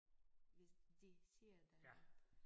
Hvis det siger dig noget